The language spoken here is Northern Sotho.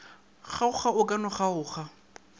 kgaoga go ka no kgaoga